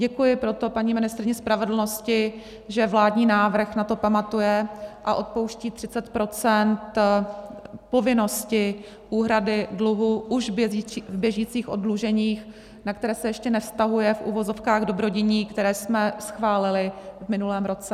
Děkuji proto paní ministryni spravedlnosti, že vládní návrh na to pamatuje a odpouští 30 % povinnosti úhrady dluhu už v běžících oddluženích, na které se ještě nevztahuje, v uvozovkách, dobrodiní, které jsme schválili v minulém roce.